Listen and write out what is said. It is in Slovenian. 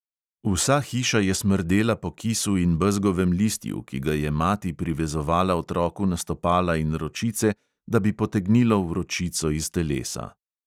Vsa hiša je smrdela po kisu in bezgovem listju, ki ga je mati privezovala otroku na stopala in ročice, da bi potegnilo vročico iz telesa.